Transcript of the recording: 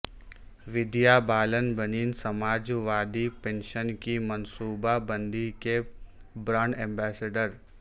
ودیا بالن بنیں Samajwadi pension کی منصوبہ بندی کے برانڈ ایمبسڈر